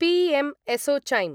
P M ASSOCHAM